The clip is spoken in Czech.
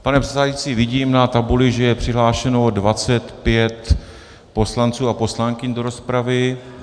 Pane předsedající, vidím na tabuli, že je přihlášeno 25 poslanců a poslankyň do rozpravy.